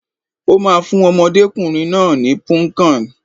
Ó ma fún ọmọdékùnrin náà ní Punnkan.